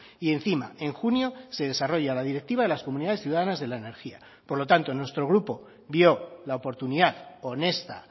y encima en junio se desarrolla la directiva de las comunidades ciudadanas de la energía por lo tanto nuestro grupo vio la oportunidad honesta